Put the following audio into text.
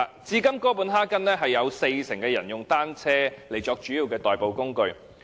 至今哥本哈根有四成人以單車作主要的代步工具。